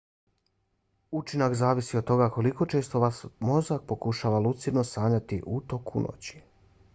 učinak zavisi od toga koliko često vaš mozak pokušava lucidno sanjati u toku noći